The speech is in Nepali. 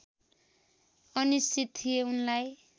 अनिश्चित थिए उनलाई